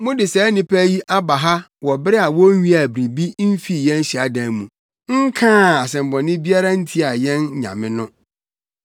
Mode saa nnipa yi aba ha wɔ bere a wonwiaa biribiara mfii yɛn hyiadan mu, nkaa asɛmmɔne biara ntia yɛn nyame no.